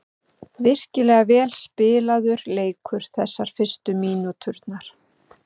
Virkilega vel spilaður leikur þessar fyrstu mínúturnar.